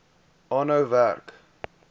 aanhou werk